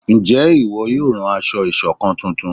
Nje ìwo yóò ràn aṣọ ìṣọ̀kan túntún?